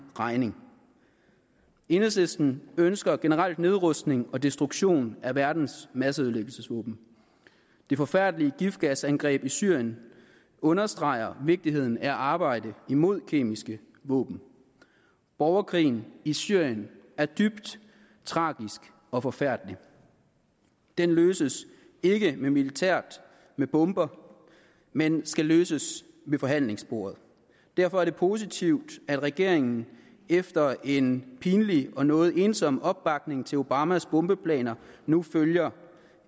regning enhedslisten ønsker generelt nedrustning og destruktion af verdens masseødelæggelsesvåben det forfærdelige giftgasangreb i syrien understreger vigtigheden af arbejdet imod kemiske våben borgerkrigen i syrien er dybt tragisk og forfærdelig den løses ikke militært med bomber men skal løses ved forhandlingsbordet derfor er det positivt at regeringen efter en pinlig og noget ensom opbakning til obamas bombeplaner nu følger